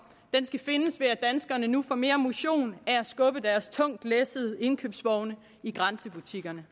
skal findes ved at danskerne nu får mere motion at skubbe deres tungt læssede indkøbsvogne i grænsebutikkerne